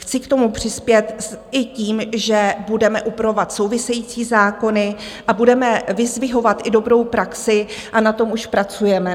Chci k tomu přispět i tím, že budeme upravovat související zákony a budeme vyzdvihovat i dobrou praxi, a na tom už pracujeme.